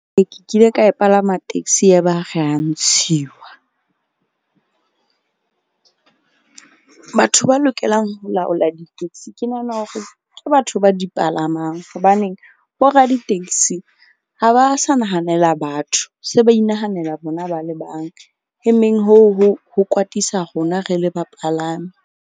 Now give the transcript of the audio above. Ke kile ka palama taxi ya ba re ya ntshiwa. Batho ba lokelang ho laola di-taxi ke nahana hore ke batho ba di palamang. Hobaneng bo radi-taxi ha ba sa nahanela batho se ba inahanela bona ba le bang. E meng hoo ho kwatisa rona re le bapalami.